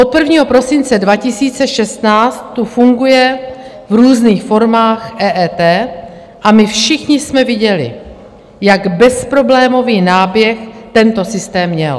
Od 1. prosince 2016 tu funguje v různých formách EET a my všichni jsme viděli, jak bezproblémový náběh tento systém měl.